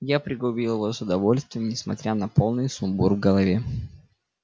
я пригубил его с удовольствием несмотря на полный сумбур в голове